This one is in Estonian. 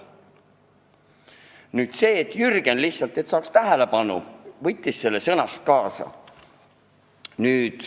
Jürgen võttis lihtsalt selleks, et saaks tähelepanu, sellest sõnast kinni.